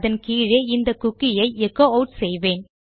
அதன் கீழே இந்த குக்கி ஐ எச்சோ ஆட் செய்வேன்